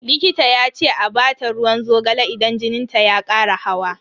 Likita ya ce a bata ruwan zogale idan jinin ta ya kara hawa.